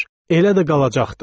Elə də qalacaqdır.